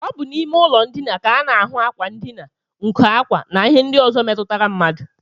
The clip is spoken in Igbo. Ọ bụ n'ime ụlọndina ka a na-ahụ ákwà ndina, nkọ ákwá, na ihe ndị ọzọ metụtara mmadụ